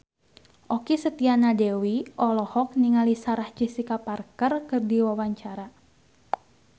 Okky Setiana Dewi olohok ningali Sarah Jessica Parker keur diwawancara